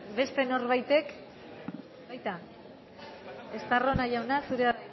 beste norbaitek estarrona jauna zurea